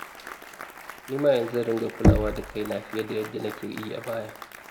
Ni ma yanzu zan dinga kulawa da kaina fiye da yadda nake yi a baya